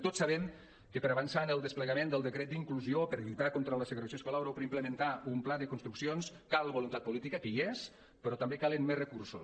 tots sabem que per avançar en el desplegament del decret d’inclusió per lluitar contra la segregació escolar o per implementar un pla de construccions cal voluntat política que hi és però també calen més recursos